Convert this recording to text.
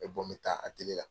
N bɛ bɔ n bɛ taa la.